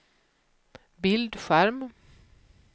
bildskärm